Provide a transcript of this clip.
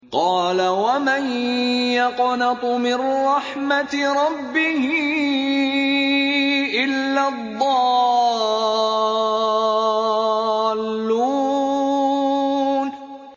قَالَ وَمَن يَقْنَطُ مِن رَّحْمَةِ رَبِّهِ إِلَّا الضَّالُّونَ